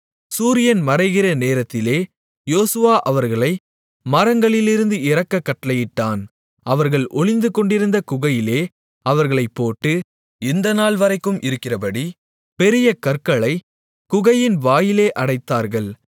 சூரியன் மறைகிற நேரத்திலே யோசுவா அவர்களை மரங்களிலிருந்து இறக்கக் கட்டளையிட்டான் அவர்கள் ஒளிந்துகொண்டிருந்த குகையிலே அவர்களைப் போட்டு இந்தநாள்வரைக்கும் இருக்கிறபடி பெரிய கற்களைக் குகையின் வாயிலே அடைத்தார்கள்